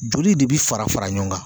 Joli de bi fara fara ɲɔgɔn kan